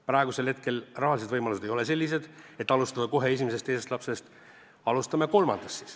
Praegusel hetkel ei ole rahalised võimalused sellised, et alustada kohe esimesest-teisest lapsest, alustame kolmandast siis.